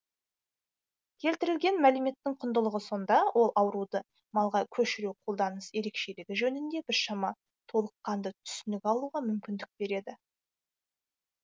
келтірілген мәліметтің құндылығы сонда ол ауруды малға көшіру қолданыс ерекшелігі жөнінде біршама толыққанды түсінік алуға мүмкіндік береді